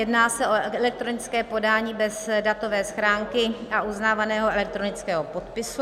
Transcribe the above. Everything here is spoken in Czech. Jedná se o elektronické podání bez datové schránky a uznávaného elektronického podpisu.